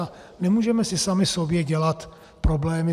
A nemůžeme si sami sobě dělat problémy.